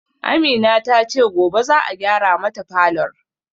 Amina tace gobe za'a gyara mata falor